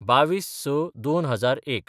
२२/०६/२००१